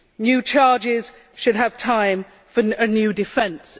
New charges should have time for a new defence